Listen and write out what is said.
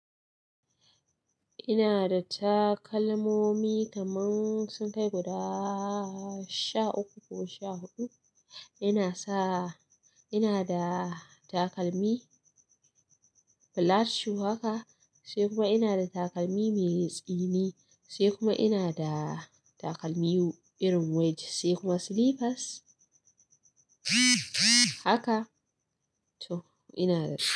Ina da takalmomi kaman sun kai guda sha uku ko sha huɗu. Ina sa, ina da takalmi flat shoe haka, sai kuma ina da takalmi mai tsini, sai kuma ina da takalmi irin wedge, sai kuma slippers. Haka, toh ina da su.